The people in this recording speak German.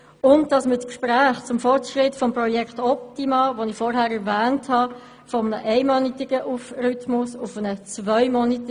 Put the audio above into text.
Zweitens soll beim Gespräch zum Fortschritt des Projekts «Optima» von einem einmonatigen auf einen zweimonatigen Rhythmus gewechselt werden.